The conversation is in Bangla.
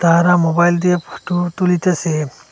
তারা মোবাইল দিয়ে ফটো তুলিতেসে।